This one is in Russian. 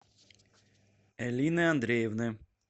элины андреевны